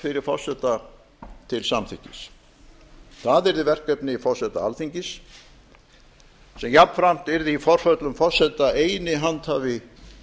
fyrir forseta til samþykkis það yrði verkefni forseta alþingis sem jafnframt yrði í forföllum forseta eini handhafi